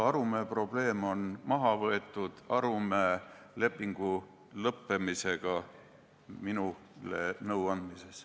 Arumäe probleem on maha võetud sellega, et lõppes leping, mille alusel ta minule nõu andis.